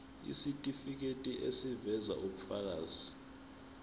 isitifiketi eziveza ubufakazi